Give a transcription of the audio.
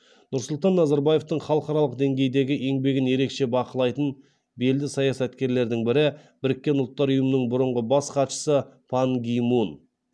нұрсұлтан назарбаевтың халықаралық деңгейдегі еңбегін ерекше бақылайтын белді саясаткерлердің бірі біріккен ұлттар ұйымының бұрынғы бас хатшысы пан ги мун